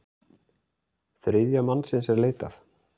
Þriðja mannsins er leitað.